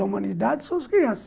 da humanidade são as crianças.